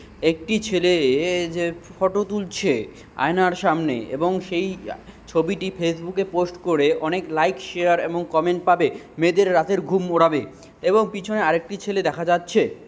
একটি ছেলে -এ যে ফটো তুলছে আয়নার সামনে এবং সেই ছবি টি ফেস বুক -এ পোস্ট করে অনেক লাইক শেয়ার আর কমেন্ট পাবে। মেয়েদের রাতের ঘুম ওড়াবে এবং পিছনে আর একটি ছেলে দেখা যাচ্ছে।